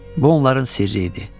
Bu onların sirri idi.